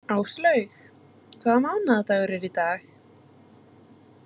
Áslaugur, hvaða mánaðardagur er í dag?